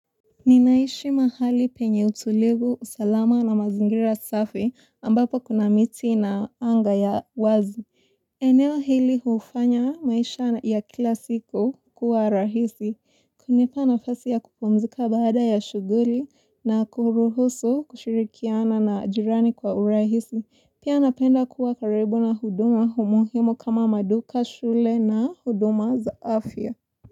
Ninaishi mahali penye utulivu, salama na mazingira safi ambapo kuna miti na anga ya wazi. Eneo hili hufanya maisha ya kilasiku kuwa rahisi. Kunipa nafasi ya kupumzika baada ya shughuli na kuruhusu kushirikiana na jirani kwa urahisi. Pia napenda kuwa karibu na huduma muhimu kama maduka shule na huduma za afya.